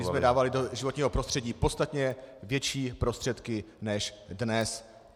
My jsme dávali do životního prostředí podstatně větší prostředky než dnes.